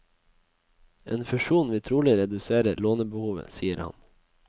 En fusjon vil trolig redusere lånebehovet, sier han.